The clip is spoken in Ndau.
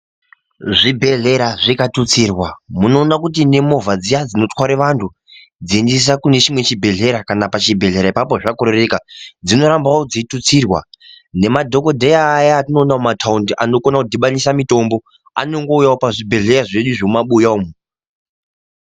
Zvi bhedhlera zvika tutsirwa muno ona kuti ne movha dziya dzino tware vantu dzei endesa kune chimwe chi bhedhlera kana pa chibhedhlera apapo zva korereka dzinga rambawo dzei tutsirwa ngema dhokodheya aya atino ona mu mataundi anokona ku dhibanisa mitombo anongo uyawo pa zvibhedhleya zvedu zvemu mabuya umu.